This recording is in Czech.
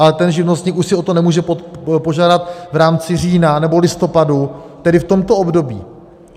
Ale ten živnostník už si o to nemůže požádat v rámci října nebo listopadu, tedy v tomto období.